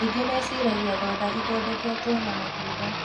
Aingĩ meciragia thonda ithondeketwo na matunda